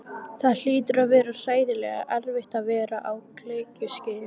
Það hlýtur að vera hræðilega erfitt að vera á gelgjuskeiðinu.